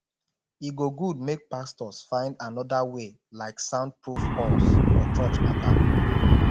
e go good make pastors find anoda way like soundproof halls for church mata